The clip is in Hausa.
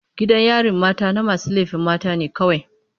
Gidan yarin mata na masu laifin mata ne kawai.